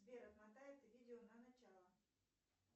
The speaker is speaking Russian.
сбер отмотай это видео на начало